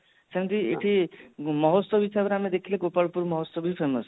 ସେମିତି ଏଠି ମହୋଚ୍ଚବ ହିସାବରେ ଦେଖିବାକୁ ଗଲେ ଗୋପାଳପୁର ମହୋଚ୍ଚବ ବି famous